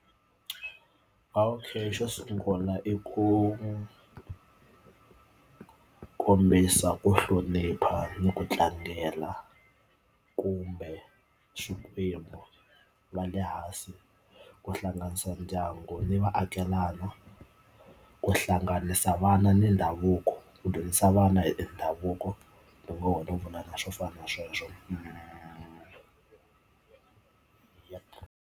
Okay xo sungula i ku kombisa ku hlonipha ni ku tlangela kumbe swikwembu va le hansi ku hlanganisa ndyangu ni vaakelana ku hlanganisa vana ni ndhavuko ku dyondzisa vana hi ndhavuko hi ngo vula na swo fana na sweswo.